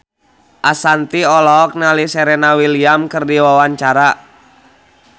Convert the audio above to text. Ashanti olohok ningali Serena Williams keur diwawancara